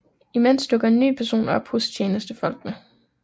Imens dukker en ny person op hos tjenestefolkene